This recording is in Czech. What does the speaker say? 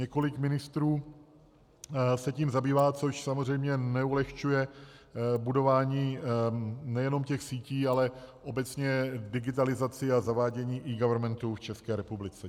Několik ministrů se tím zabývá, což samozřejmě neulehčuje budování nejenom těch sítí, ale obecně digitalizaci a zavádění eGovernmentu v České republice.